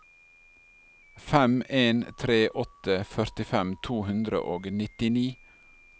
fem en tre åtte førtifem to hundre og nittini